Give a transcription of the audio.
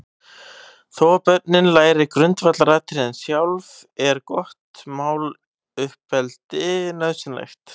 Þó að börnin læri grundvallaratriðin sjálf, er gott máluppeldi nauðsynlegt.